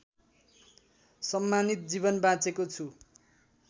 सम्मानित जीवन बाँचेको छु